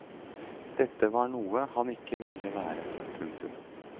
Dette var noe han ikke ville være. punktum